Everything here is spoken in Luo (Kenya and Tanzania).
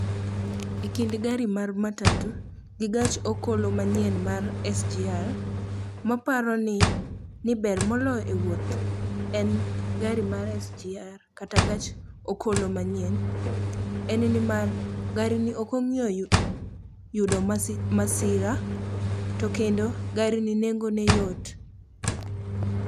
E kind gari mar matatu gi gach okolo manyien mar SGR, maparo ni ber moloyo e wuoth en gari mar SGR kata gach okolo manyien en nimar garini ok ong'iyo yudo masira to kendo garini nengone yot.